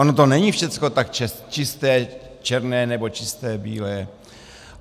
Ono to není všechno tak čisté černé nebo čisté bílé.